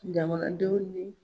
Jamanadenw ye